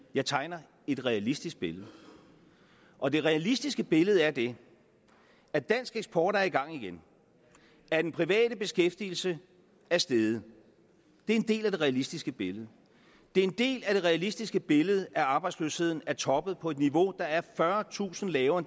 jeg tegner et realistisk billede og det realistiske billede er det at dansk eksport er i gang igen at den private beskæftigelse er steget det er en del af det realistiske billede det er en del af det realistiske billede at arbejdsløsheden er toppet på et niveau der er fyrretusind lavere